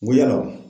Ko yala